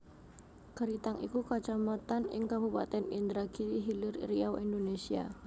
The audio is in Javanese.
Keritang iku Kacamatan ing Kabupatèn Indragiri Hilir Riau Indonésia